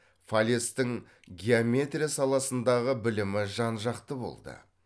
фалестің геометрия саласындағы білімі жан жақты болды